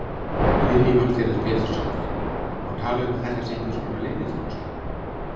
Lillý Valgerður Pétursdóttir: Má tala um að þetta sé einhverskonar leyniþjónusta?